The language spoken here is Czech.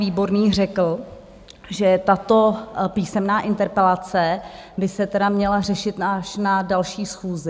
Výborný řekl, že tato písemná interpelace by se tedy měla řešit až na další schůzi.